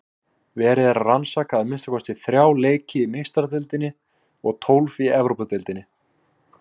Verið er að rannsaka að minnsta kosti þrjá leiki í Meistaradeildinni og tólf í Evrópudeildinni.